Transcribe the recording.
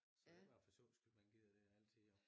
Så det bare for sjovs skyld man gider det altid jo